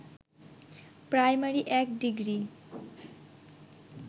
primary ১ degree